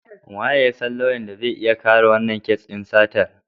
Wanene ya san lauyan da zai iya kare wannan kes din satar?